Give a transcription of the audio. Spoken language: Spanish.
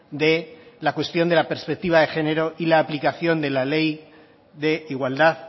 de la cuestión de la perspectiva de género y la aplicación de la ley de igualdad